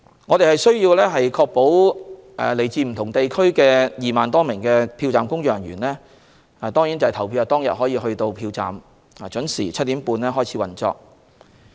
我們需要確保來自不同地區的2萬多名票站工作人員在投票當天能抵達票站，讓票站準時於7時30分開始運作。